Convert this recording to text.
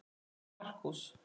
En Markús